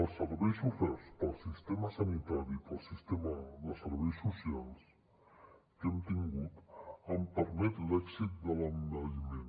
els serveis oferts pel sistema sanitari i pel sistema de serveis socials que hem tingut han permès l’èxit de l’envelliment